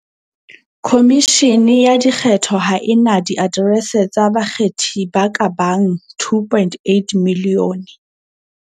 Khomishene ya Dikgetho ha e na diaterese tsa bakgethi ba ka bang 2.8 milione.